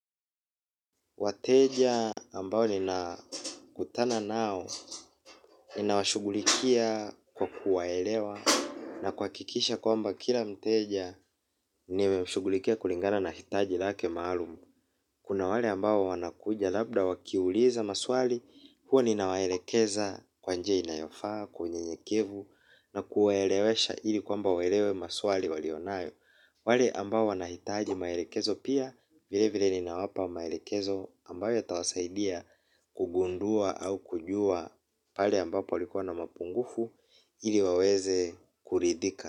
Wateja ambao ninakutana nao ninawashughulikia kwa kuwaelewa na kuhakikisha kwamba kila mteja nimemshughulikia kulingana na hitaji lake maalumu. Kuna wale ambao wanakuja labda wakiuliza maswali, huwa ninawaelekeza kwa njia inayofaa, kwa unyenyekevu na kuwaelewesha ili kwamba waelewe maswali walionayo. Wale ambao wanahitaji maelekezo pia vile vile ninawapa maelekezo ambayo yatawasaidia kugundua au kujua pale ambapo palikuwa na mapungufu ili waweze kuridhika.